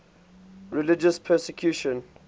religious persecution